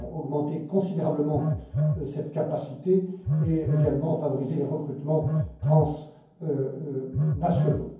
Nous allons augmenter considérablement cette capacité et également favoriser les recrutements transnationaux.